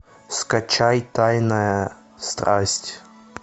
скачай тайная страсть